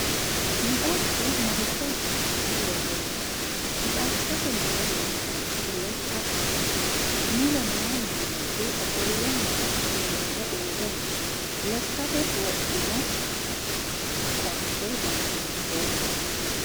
mixasho maricho asi'nara woroonite? mixashote mulle leelitannoti lekka ayiite? mulle noo mannichi ofolle noonso uure no? lekkate wodhinno coatte danni hiitoho?